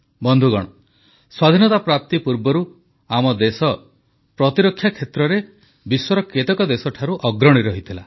ବନ୍ଧୁଗଣ ସ୍ୱାଧୀନତା ପ୍ରାପ୍ତି ପୂର୍ବରୁ ଆମ ଦେଶ ପ୍ରତିରକ୍ଷା କ୍ଷେତ୍ରରେ ବିଶ୍ୱର କେତେକ ଦେଶଠାରୁ ଅଗ୍ରଣୀ ଥିଲା